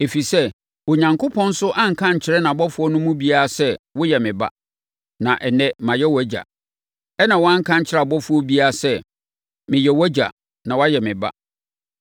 Ɛfiri sɛ, Onyankopɔn nso anka ankyerɛ nʼabɔfoɔ no mu biara sɛ, “Woyɛ me Ba; na ɛnnɛ, mayɛ wʼAgya.” Ɛnna wanka ankyerɛ ɔbɔfoɔ biara sɛ, “Mɛyɛ wʼAgya na wayɛ me Ba.”